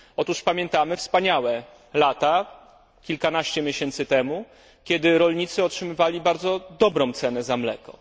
Otóż pamiętamy wspaniałe lata, kilkanaście miesięcy temu, kiedy rolnicy otrzymywali bardzo dobrą cenę za mleko.